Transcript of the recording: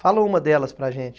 Fala uma delas para a gente.